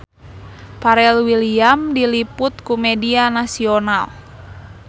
Pharrell Williams diliput ku media nasional